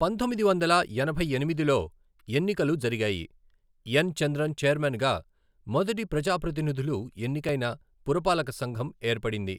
పంతొమ్మిది వందల ఎనభై ఎనిమిదిలో ఎన్నికలు జరిగాయి, ఎన్ చంద్రన్ ఛైర్మన్గా మొదటి ప్రజాప్రతినిధులు ఎన్నికైన పురపాలక సంఘం ఏర్పడింది.